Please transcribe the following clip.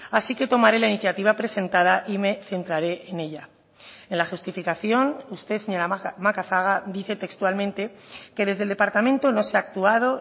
así que tomaré la iniciativa presentada y me centraré en ella en la justificación usted señora macazaga dice textualmente que desde el departamento no se ha actuado